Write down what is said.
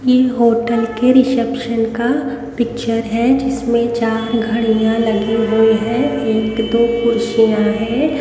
की होटल के रिसेप्शन का पिक्चर है जिसमें चार घड़ियां लगी हुई है एक दो कुर्सियां हैं।